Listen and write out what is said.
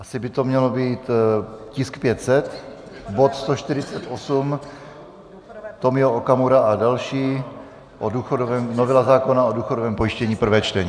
Asi by to měl být tisk 500, bod 148 - Tomio Okamura a další, novela zákona o důchodovém pojištění, prvé čtení.